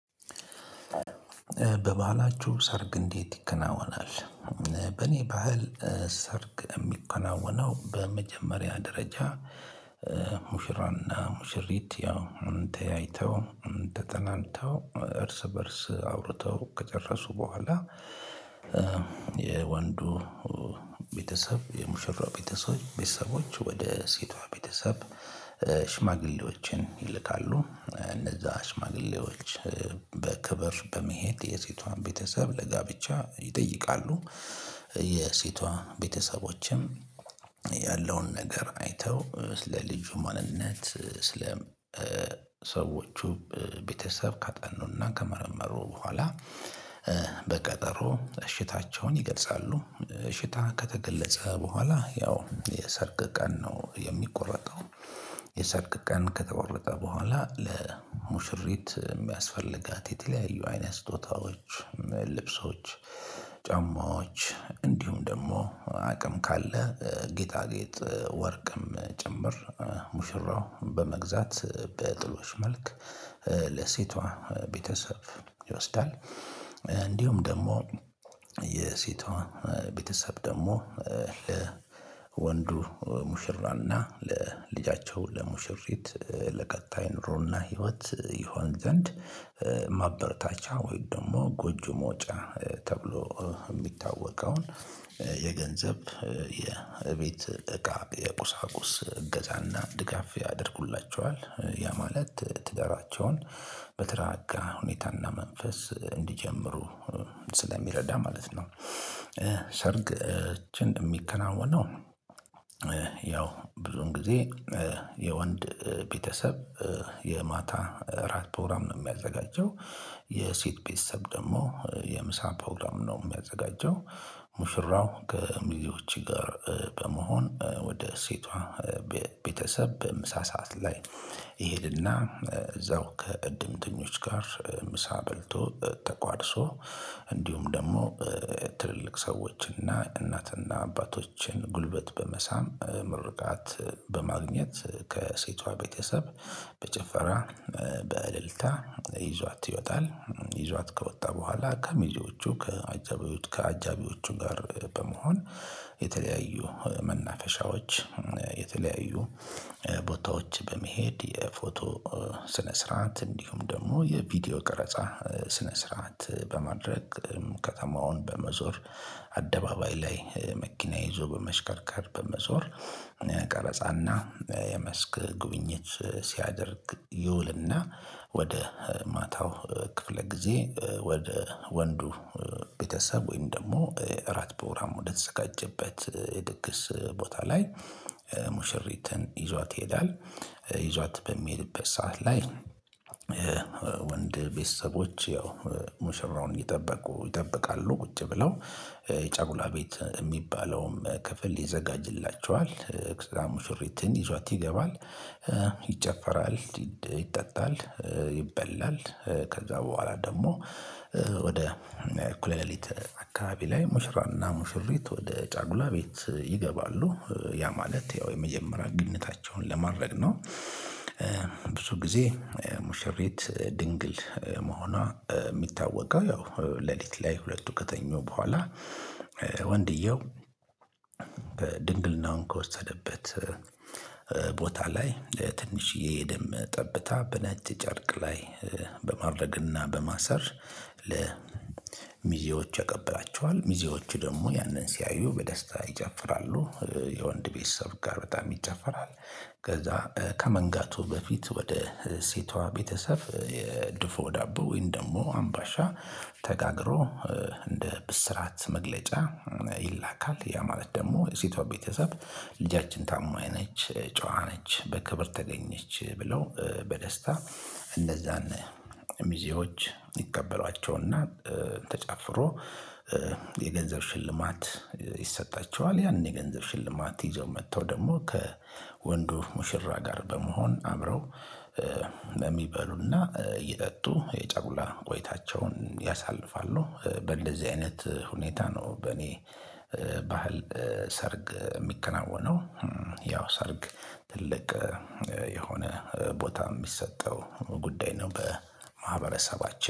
በባህላችሁ ሰርግ እንዴት ይከናወናል? በእኔ ባህል ሰርግ ሚከናወነው በመጀመሪያ ደረጃ። ሙሽራና ሙሽሪት ያው ተያአይተው ተጠናንተው እርስ በእርስ አውርተው ከጨረሱ በኋላ። የወንዱ ቤተሰብ የሙሽራ ቤተሰቦች ቤተሰቦች ወደ ሴቷ ቤተሰብ። ሽማግሌዎችን ይልካሉ እነዛ ሽማግሌዎች በክብር በመሄድ የሴቷን ቤተሰብ ለጋብቻ ይጠይቃሉ። የሴቷን ቤተሰቦችም ያለውን ነገር አይተው ስለ ልጁ ማንነት ስለ ሰዎቹ ቤተሰብ ካጠኑና ከመረመሩ በኋላ። በቀጠሮ እሽታቸውን ይገልጻሉ እሽታ ከተገለጸ በኋላ ያው የሰርግ ቀን ነው የሚቆረጠው። የሰርግ ቀን ከተቆረጠ በኋላ ለሙሽሪት ሚያስፈልጋት የተለያዩ አይነት ስጦታዎች ልብሶች ጫማዎች እንዲሁም ደግሞ አቅም ካለ ጌጣጌጥ ወርቅም ጭምር ሙሽራው በመግዛት በጥሎሽ መልክ ለሴቷ ቤተሰብ ይወስዳል። እንዲሁም ደግሞ የሴቷ ቤተሰብ ደሞ ለወንዱ ሙሽራና ለልጃቸው ለሙሽሪት ለቀጣይ ኑሮና ህይወት ይሆን ዘንድ። ማበርታቻ ወይም ደግሞ ጎጆ መውጫ ተብሎ ሚታወቀውን የገንዘብ የእቤት እቃ የቁሳቁስ እገዛና ድጋፍ ያደርጉላቸዋል ያ ማለት ትዳራቸውን በተራጋ ሁኔታና መንፈስ እንዲጀምሩ ስለሚረዳ ማለት ነው። ሰርግ እቺን ሚከናወነው ነው ያው ብዙን ጊዜ የወንድ ቤተሰብ የማታ እራት ፕሮግራም ነው ሚያዘጋጀው። የሴት ቤተሰብ ደግሞ የምሳ ፕሮግራም ነው ሚያዘጋጀው። ሙሽራው ከሚዜዎች ጋር በመሆን ወደ ሴቷ ቤተሰብ በምሳ ሰዓት ላይ ይሄድና እዛው ከእድምተኞች ጋር ምሳ በልቶ ተቋድሶ እንዲሁም ደግሞ ትልልቅ ሰዎችን እና እናትና አባቶችን ጉልበት በመሳም ምርቃት በማግኘት ከሴቷ ቤተሰብ በጭፈራ በእልልታ ይዟት ይወጣል። ይዟት ከወጣ በኋላ ከሚዜዎቹ ከአጃቢዎቹ ከአጃቢዎቹ ጋር በመሆን የተለያዩ መናፈሻዎች የተለያዩ ቦታዎች በመሄድ የፎቶ ስነ ስርዓት እንዲሁም ደግሞ የቪዲዮ ቀረጻ ስነ ስርዓት በማድረግ ከተማውን በመዞር አደባባይ ላይ መኪና ይዞ በመሽከርካር በመዞር። ቀረጻና የመስክ ጉብኝት ሲያደርግ ይውልና ወደ ማታው ክፍለ ጊዜ ወደ ወንዱ ቤተሰብ ወይም ደግሞ እራት ፕሮግራም ወደተዘጋጀበት ድግስ ቦታ ላይ ሙሽሪትን ይዟት ይሄዳል። ይዟት በሚሄድበት ሰዓት ላይ። ወንድ ቤተሰቦች ያው ሙሽራውን እየጠበቁ ይጠብቃሉ ቁጭ ብለው የጫጉላ ቤት ሚባለውም ክፍል ይዘጋጅላቸዋል ከዛ ሙሽሪትን ይዟት ይገባል። ይጨፈራል ይጠጣል ይበላል ከዛ በኋላ ደግሞ ወደ እኩለ ሌሊት አካባቢ ላይ ሙሽራና ሙሽሪት ወደ ጫጉላ ቤት ይገባሉ ያ ማለት ያው የመጀመሪያ ግንኙነታቸውን ለማድረግ ነው። ብዙ ጊዜ ሙሸሬት ድንግል መሆኗ ሚታወቀው ያው ሌሊት ላይ ሁለቱ ከተኙ በኋላ። ወንድየው በድንግልናውን ከወሰደበት ቦታ ላይ ትንሽዬ ደም ጠብታ በናጭ ጨርቅ ላይ በማድረግና በማሰር ለሚዜዎች ያቀብላቸዋል ሚዜዎቹ ደግሞ ያንን ሲያዩ በደስታ ይጨፍራሉ። የወንድ ቤተሰብ ጋር በጣም ይጨፈራል። ከዛ ከመንጋቱ በፊት ወደ ሴቷ ቤተሰብ የድፎ ዳቦ ወይን ደግሞ አምባሻ ተጋግሮ እንደ ብስራት መግለጫ ይላካል ያ ማለት ደግሞ ሴቷ ቤተሰብ። ልጃችን ታማኝ ነች ጨዋ ነች በክብር ተገኘች ብለው በደስታ እንነዛን ሚዜዎች ይቀበሏቸውና ተጨፍሮ የገንዘብ ሽልማት ይሰጣቸዋል። ያንን የገንዘብ ሽልማት ይዘው መተው ደግሞ ከወንዱ ሙሽራ ጋር በመሆን አምረው ለሚበሉና እየጠጡ የጫጉላ ቆይታቸውን ያሳልፋሉ። በእንደዚህ አይነት ሁኔታ ነው በእኔ ባህል ሰርግ ሚከናወነው። ያው ሰርግ ትልቅ የሆነ ቦታ ሚሰጠው ጉዳይ ነው። በማህበረሰባችን